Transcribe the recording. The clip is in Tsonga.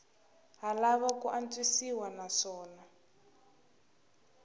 ha lava ku antswisiwa naswona